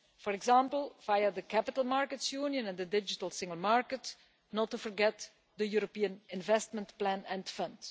For example, via the Capital Markets Union and the Digital Single Market, not to forget the European Investment Plan and Fund.